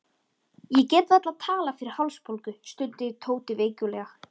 Ég get varla talað fyrir hálsbólgu, stundi Tóti veiklulega.